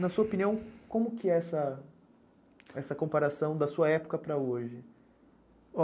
Na sua opinião, como que é essa comparação da sua época para hoje?